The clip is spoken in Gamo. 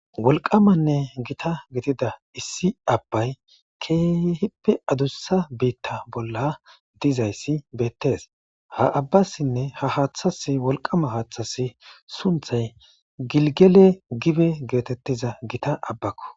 Wolqamanne gita gitida issi abbay keehippe adussa biitta bolla dizayssi beettes ha abbassinne ha haaththas wolqama haaththas sunthay gilgele gibe geetettiza gita abbakko